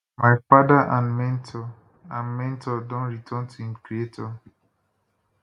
my father and mentor and mentor don return to im creator